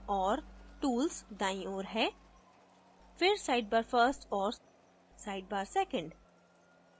और tools दाईं ओर है फिर sidebar first और sidebar second